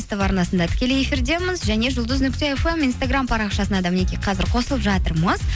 ств арнасында тікелей эфирдеміз және жұлдыз нүкте фм инстаграм парақшасына да мінекей қазір қосылып жатырмыз